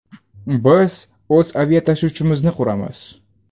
Biz o‘z aviatashuvchimizni quramiz.